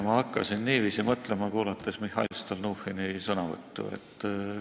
Ma hakkasin niiviisi mõtlema kuulates Mihhail Stalnuhhini sõnavõttu.